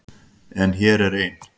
En hér er ein.